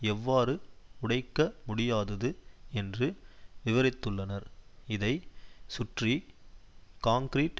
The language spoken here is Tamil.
எவ்வாறு உடைக்க முடியாதது என்று விவரித்துள்ளனர் இதை சுற்றி காங்க்ரீட்